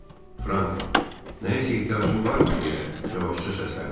Frank nəyəsə ehtiyacın varmı deyə yavaşca səslənib.